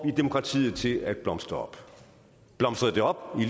vi demokratiet til at blomstre op blomstrede det op i